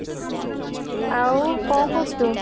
ଆଉ କ'ଣ କରୁଛୁ?